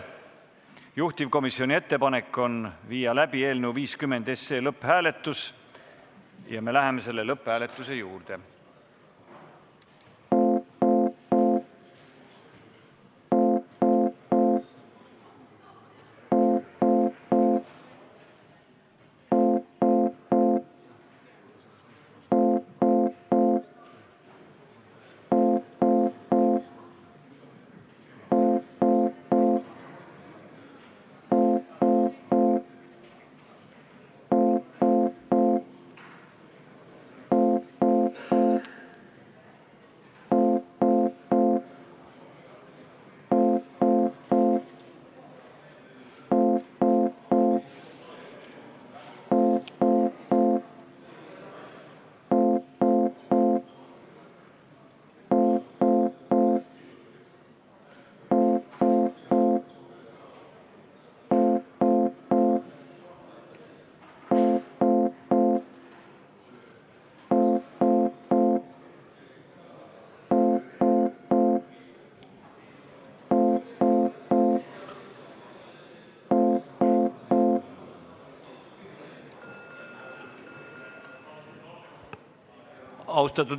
Juhtivkomisjoni ettepanek on panna eelnõu 50 lõpphääletusele ja me läheme selle juurde.